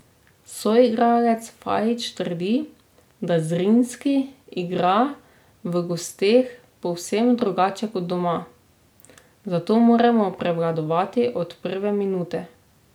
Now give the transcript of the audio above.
Soigralec Fajić trdi, da Zrinjski igra v gosteh povsem drugače kot doma, zato moramo prevladovati od prve minute.